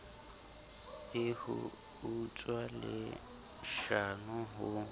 e ho utswa leshano ho